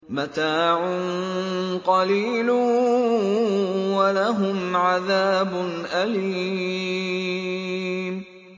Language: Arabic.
مَتَاعٌ قَلِيلٌ وَلَهُمْ عَذَابٌ أَلِيمٌ